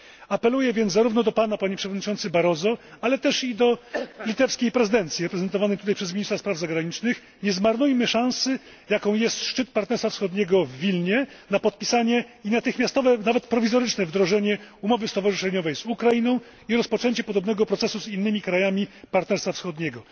Apeluję więc zarówno do Pana, Panie Przewodniczący Barroso, ale też do litewskiej prezydencji reprezentowanej tutaj przez ministra spraw zagranicznych nie zmarnujmy szansy, jaką jest szczyt Partnerstwa Wschodniego w Wilnie, na podpisanie i natychmiastowe, nawet prowizoryczne, wdrożenie umowy stowarzyszeniowej z Ukrainą i rozpoczęcie podobnego procesu z innymi krajami Partnerstwa Wschodniego.